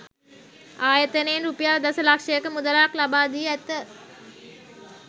ආයතනයෙන් රුපියල් දස ලක්ෂයක මුදලක්ද ලබා දී ඇත.